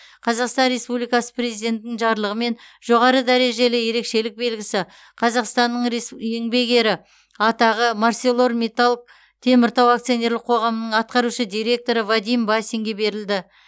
қазақстан республикасы президентінің жарлығымен жоғары дәрежелі ерекшелік белгісі қазақстанның еңбек ері атағы арселормиттал теміртау акционерлік қоғамының атқарушы директоры вадим басинге берілді